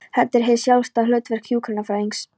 Þetta er hið sjálfstæða hlutverk hjúkrunarfræðingsins.